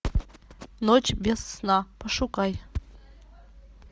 ночь без сна пошукай